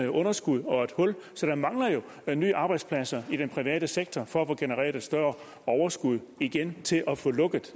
underskud så der mangler jo nye arbejdspladser i den private sektor for at få genereret et større overskud igen til at få lukket